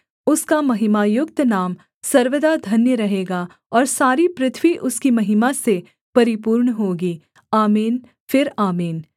उसका महिमायुक्त नाम सर्वदा धन्य रहेगा और सारी पृथ्वी उसकी महिमा से परिपूर्ण होगी आमीन फिर आमीन